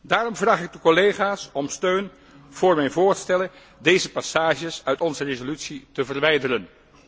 Daarom vraag ik de collega's om steun voor mijn voorstellen deze passages uit onze resolutie te verwijderen.